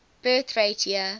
birth rate year